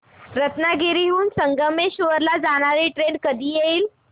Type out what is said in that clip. रत्नागिरी हून संगमेश्वर ला जाणारी ट्रेन कधी येईल